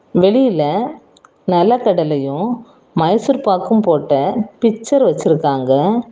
வெளியில நெலக்கடலையும் மைசூர்பாக்கும் போட்ட பிக்சர் வச்சிருக்காங்க.